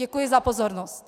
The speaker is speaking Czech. Děkuji za pozornost.